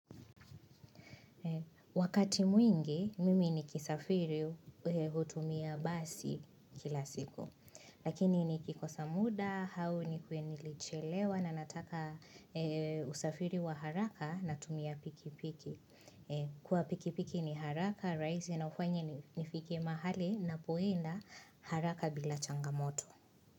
Wakati mwingi mimi nikisafiri hutumia basi kila siku. Lakini nikikosa muda, au nikue nilichelewa na nataka usafiri wa haraka natumia pikipiki. Kwa pikipiki ni haraka, rahisi na ufanya nifike mahali ninapoenda haraka bila changamoto.